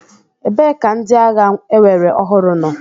Ebee ka ndị agha ewere ọhụrụ nọ?